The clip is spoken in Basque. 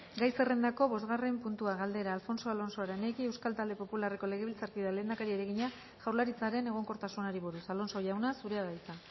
gai zerrendako bosgarren puntua galdera alfonso alonso aranegui euskal talde popularreko legebiltzarkideak lehendakariari egina jaurlaritzaren egonkortasunari buruz alonso jauna zurea da hitza